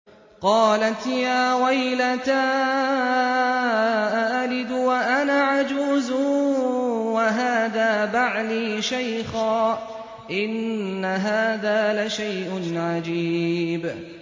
قَالَتْ يَا وَيْلَتَىٰ أَأَلِدُ وَأَنَا عَجُوزٌ وَهَٰذَا بَعْلِي شَيْخًا ۖ إِنَّ هَٰذَا لَشَيْءٌ عَجِيبٌ